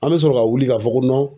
An bɛ sɔrɔ ka wuli ka fɔ ko